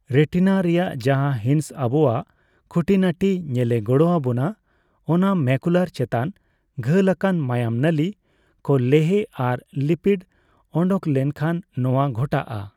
ᱨᱮᱴᱤᱱᱟ ᱨᱮᱭᱟᱜ ᱡᱟᱦᱟᱸ ᱦᱤᱸᱥ ᱟᱵᱳᱣᱟᱜ ᱠᱷᱩᱸᱴᱤᱱᱟᱹᱴᱤ ᱧᱮᱞᱮ ᱜᱚᱲᱚ ᱟᱵᱚᱱᱟ, ᱚᱱᱟ ᱢᱮᱠᱩᱞᱟᱨ ᱪᱮᱛᱟᱱ ᱜᱷᱟᱹᱞᱟᱠᱟᱱ ᱢᱟᱭᱟᱝ ᱱᱟᱹᱞᱤ ᱠᱚ ᱞᱮᱦᱮ ᱟᱨ ᱞᱤᱯᱤᱰ ᱚᱸᱰᱚᱝ ᱞᱮᱱᱠᱷᱟᱱ ᱱᱚᱣᱟ ᱜᱷᱚᱴᱟᱜᱼᱟ ᱾